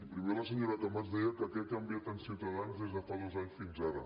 primer la senyora camats deia que què ha canviat en ciutadans des de fa dos anys fins ara